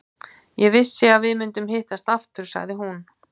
Ég vissi að við myndum hittast aftur, sagði hún.